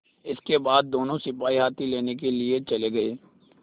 इसके बाद दोनों सिपाही हाथी लेने के लिए चले गए